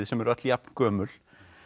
sem eru öll jafngömul